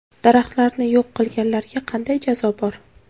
Daraxtlarni yo‘q qilganlarga qanday jazo bor?